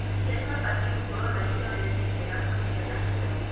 aciari mabatie gũkorwo marĩ kĩonereria kĩega kũrĩ ciana ciao.